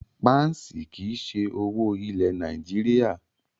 Páǹsì kí í ṣe owó ilẹ̀ Nàìjíríà.